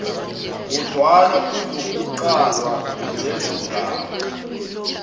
kodwana kuzokuqalwa lezongaba